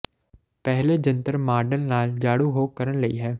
ਪਹਿਲੇ ਜੰਤਰ ਮਾਡਲ ਨਾਲ ਜਾਣੂ ਹੋ ਕਰਨ ਲਈ ਹੈ